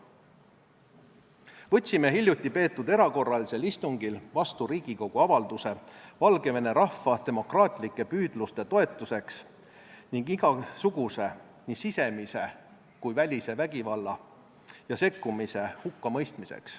Võtsime hiljuti peetud erakorralisel istungil vastu Riigikogu avalduse Valgevene rahva demokraatlike püüdluste toetamiseks ning igasuguse – nii sisemise kui ka välise – vägivalla ja sekkumise hukkamõistmiseks.